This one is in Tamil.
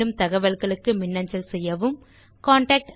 மேலும் தகவல்களுக்கு மின்னஞ்சல் செய்யவும் contactspoken tutorialorg